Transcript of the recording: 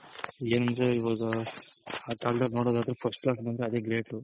ಎನಂದ್ರೆ ಇವಾಗ ಆ ಕಾಲ್ದಲ್ಲಿ ನೋಡೋದಾದ್ರೆ first class ಬಂದ್ರೆ ಅದೇ Great